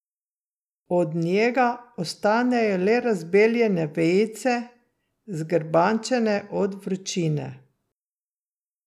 Od njega ostanejo le razbeljene vejice, zgrbančene od vročine.